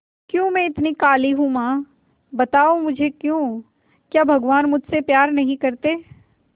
क्यों मैं इतनी काली हूं मां बताओ मुझे क्यों क्या भगवान मुझसे प्यार नहीं करते